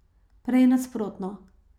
Prej nasprotno.